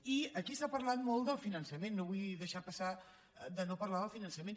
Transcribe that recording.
i aquí s’ha parlat molt del finançament no vull deixar passar de no parlar del finançament